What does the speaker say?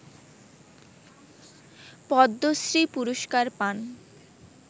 পদ্মশ্রী পুরস্কার পান